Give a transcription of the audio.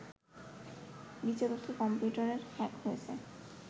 বিচারকের computer hack হয়েছে